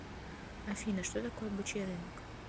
афина что такое бычий рынок